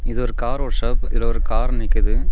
இது ஒரு car workshop இதுல ஒரு கார் நிக்குது.